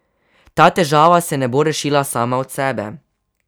Ta težava se ne bo rešila sama od sebe.